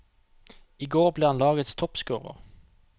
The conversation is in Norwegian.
I går ble han lagets toppscorer.